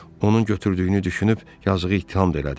Onun götürdüyünü düşünüb yazığı ittiham da elədim.